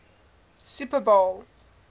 super bowl